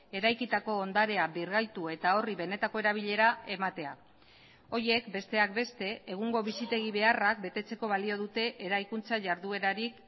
eraikitako ondarea birgaitu eta horri benetako erabilera ematea horiek besteak beste egungo bizitegi beharrak betetzeko balio dute eraikuntza jarduerarik